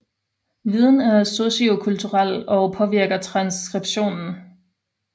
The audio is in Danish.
Viden er sociokulturel og påvirker transskriptionen